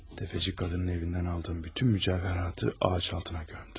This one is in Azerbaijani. Təfəçi qadının evindən aldığım bütün mücəvhəratı ağac altına gömdüm.